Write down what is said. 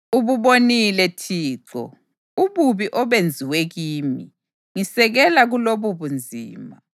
Ububonile Thixo, ububi obenziwe kimi. Ngisekela kulobubunzima!